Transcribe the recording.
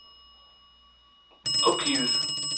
opgivet